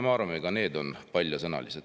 Me arvame, et need on paljasõnalised.